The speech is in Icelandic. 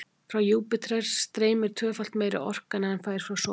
frá júpíter streymir tvöfalt meiri orka en hann fær frá sólu